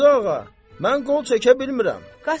Qazı ağa, mən qol çəkə bilmirəm.